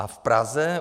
A v Praze?